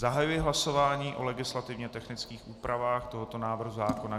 Zahajuji hlasování o legislativně technických úpravách tohoto návrhu zákona.